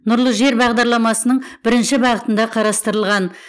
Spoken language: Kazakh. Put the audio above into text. нұрлы жер бағдарламасының бірінші бағытында қарастырылған